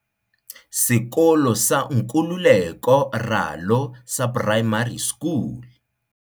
Sekolo sa Nkululeko Ralo sa Primary School